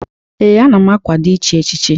Ee, ana m akwado ichi echichi.